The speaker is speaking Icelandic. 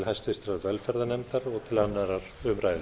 háttvirtrar velferðarnefndar og til annarrar umræðu